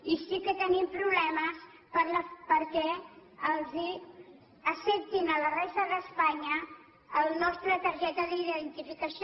i sí que tenim problemes perquè els acceptin a la resta d’espanya la nostra targeta d’iden ti ficació